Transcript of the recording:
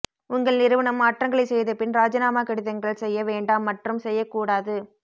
உங்கள் நிறுவனம் மாற்றங்களைச் செய்தபின் ராஜினாமா கடிதங்கள் செய்ய வேண்டாம் மற்றும் செய்யக்கூடாது